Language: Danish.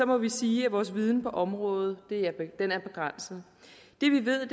må vi sige at vores viden på området er begrænset det vi ved